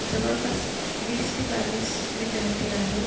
जवळपास वीस ते बावीस विद्यार्थी आहेत.